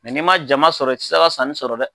n'i ma jama sɔrɔ, i te se ka sanni sɔrɔ dɛ!